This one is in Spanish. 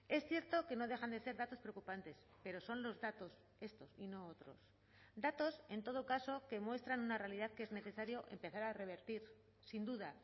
es cierto que no dejan de ser datos preocupantes pero son los datos estos y no otros datos en todo caso que muestran una realidad que es necesario empezar a revertir sin duda